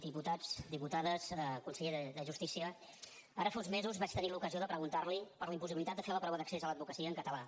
diputats diputades conseller de justícia ara fa uns mesos vaig tenir l’ocasió de preguntar li per la impossibilitat de fer la prova d’accés a l’advocacia en català